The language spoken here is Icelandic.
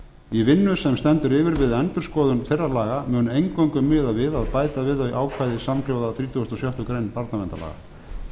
í vinnu sem stendur yfir við endurskoðun þeirra laga mun eingöngu miðað við að bæta við þau ákvæði samhljóða þrítugasta og sjöttu grein barnaverndarlaga